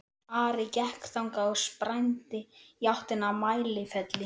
Ari gekk þangað og sprændi í áttina að Mælifelli.